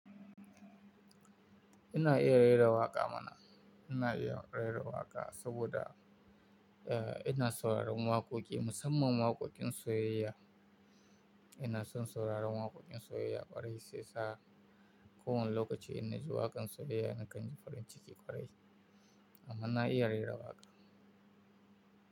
Ina iya rera waƙa mana. Ina iya rera waƙa saboda, eh, ina sauraron waƙoƙi, musamman waƙoƙin soyayya. Ina son sauraron waƙoƙin soyayya ƙwarai, sai sa kowane lokaci inna ji waƙan soyayya nakan ji farin ciki ƙwarai. Amma na iya rera waƙa.